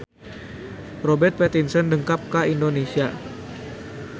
Robert Pattinson dongkap ka Indonesia